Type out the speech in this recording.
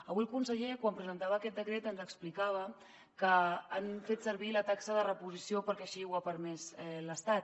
avui el conseller quan presentava aquest decret ens explicava que han fet servir la taxa de reposició perquè així ho ha permès l’estat